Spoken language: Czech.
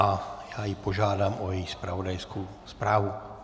A já ji požádám o její zpravodajskou zprávu.